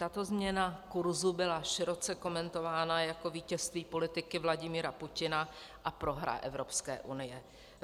Tato změna kurzu byla široce komentována jako vítězství politiky Vladimira Putina a prohra Evropské unie.